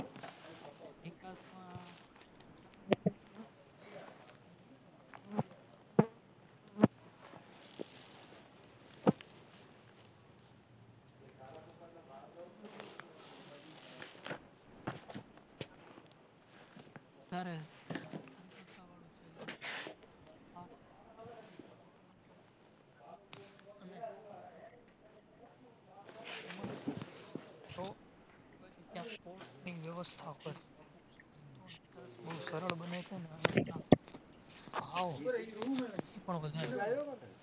બોવ સરળ બને છે